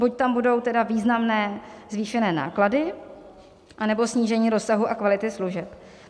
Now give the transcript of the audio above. Buď tam budou tedy významné zvýšené náklady, anebo snížení rozsahu a kvality služeb.